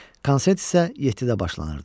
Konsert isə yeddidə başlanırdı.